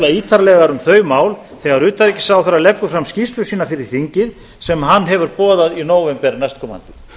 ítarlegar um þau mál þegar utanríkisráðherra leggur fram skýrslu sína fyrir þingið sem hann hefur boðað í nóvember næstkomandi